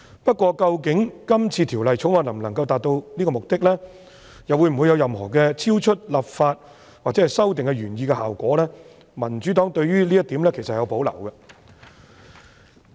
不過，究竟《條例草案》能否達致這個目的，又或會否產生任何超出立法或修訂原來希望達致的效果，民主黨對於這一點其實有保留。